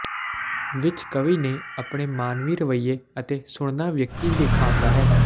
ਵਿੱਚ ਕਵੀ ਨੇ ਆਪਣੇ ਮਾਨਵੀ ਰਵੱਈਏ ਅਤੇ ਸੁਣਨਾ ਵਿਅਕਤੀ ਵੇਖਾਉਦਾ ਹੈ